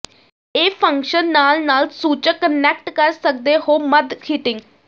ਇਹ ਫੰਕਸ਼ਨ ਨਾਲ ਨਾਲ ਸੂਚਕ ਕਨੈਕਟ ਕਰ ਸਕਦੇ ਹੋ ਮੱਧ ਹੀਟਿੰਗ